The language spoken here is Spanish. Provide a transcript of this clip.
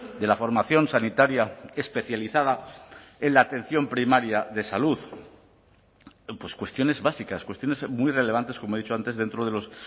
de la formación sanitaria especializada en la atención primaria de salud cuestiones básicas cuestiones muy relevantes como he dicho antes dentro de los